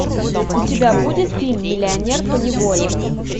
у тебя будет фильм миллионер поневоле